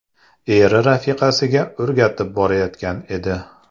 Eri rafiqasiga o‘rgatib borayotgan edi.